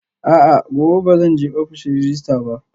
A'a, gobe ba zan je ofishin rejista ba